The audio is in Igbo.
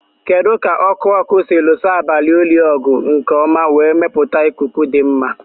Kedu ka ọkụ ọkụ si lụso abalị oyi ọgụ nke ọma wee mepụta ikuku dị mma?